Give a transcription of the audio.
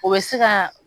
O bɛ se ka